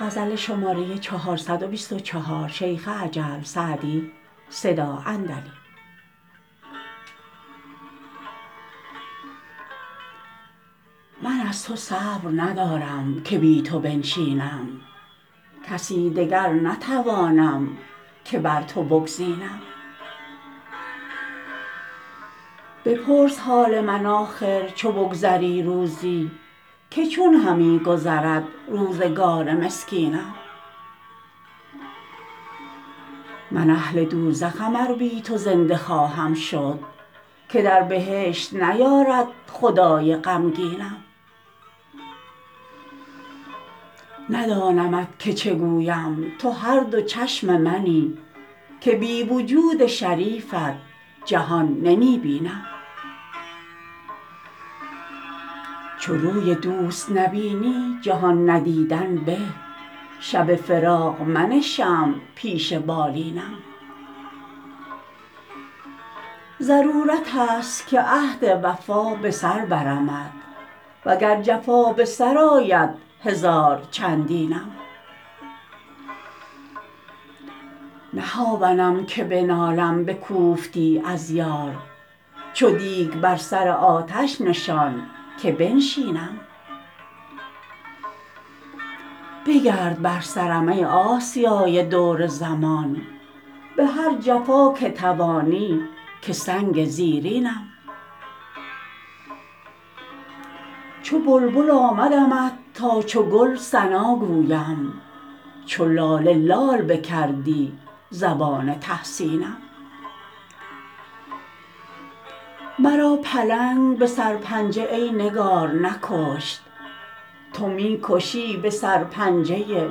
من از تو صبر ندارم که بی تو بنشینم کسی دگر نتوانم که بر تو بگزینم بپرس حال من آخر چو بگذری روزی که چون همی گذرد روزگار مسکینم من اهل دوزخم ار بی تو زنده خواهم شد که در بهشت نیارد خدای غمگینم ندانمت که چه گویم تو هر دو چشم منی که بی وجود شریفت جهان نمی بینم چو روی دوست نبینی جهان ندیدن به شب فراق منه شمع پیش بالینم ضرورت است که عهد وفا به سر برمت و گر جفا به سر آید هزار چندینم نه هاونم که بنالم به کوفتی از یار چو دیگ بر سر آتش نشان که بنشینم بگرد بر سرم ای آسیای دور زمان به هر جفا که توانی که سنگ زیرینم چو بلبل آمدمت تا چو گل ثنا گویم چو لاله لال بکردی زبان تحسینم مرا پلنگ به سرپنجه ای نگار نکشت تو می کشی به سر پنجه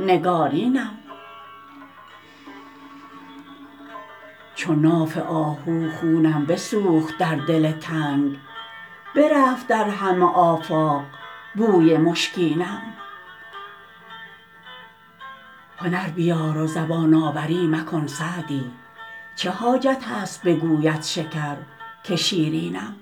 نگارینم چو ناف آهو خونم بسوخت در دل تنگ برفت در همه آفاق بوی مشکینم هنر بیار و زبان آوری مکن سعدی چه حاجت است بگوید شکر که شیرینم